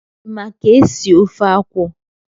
Ị ma ka esi ofe akwụ?